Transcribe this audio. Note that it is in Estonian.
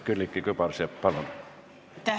Külliki Kübarsepp, palun!